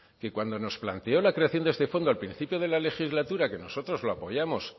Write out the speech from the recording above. que cuando nos planteó la creación de este fondo al principio de la legislatura que nosotros la apoyamos